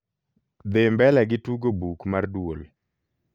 dhi mbele gi tugo buk mar duol